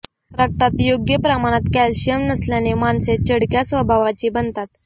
रक्तात योग्य प्रमाणात कॅल्शियम नसल्यास माणसे चिडक्या स्वभावाची बनतात